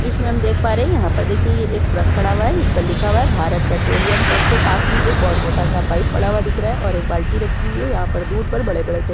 इसमें हम देख पा रहे हैं यहाँ पर देखिए ये एक ट्रक खड़ा हुआ है जिस पर लिखा हुआ है भारत पेट्रोलियम ट्रक के पास में एक बहुत मोटा सा पाइप पड़ा हुआ दिख रहा है और एक बाल्टी रखी हुई है यहाँ पर दूर पर बहुत बड़े-बड़े से --